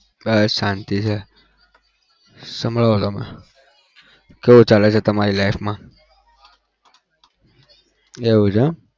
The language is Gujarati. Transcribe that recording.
બસ શાંતિ છે સંભળાવો તમે કેવું ચાલે છે તમારી life માં? એવું છે એમ?